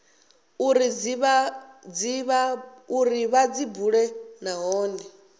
uri vha dzi bule nahone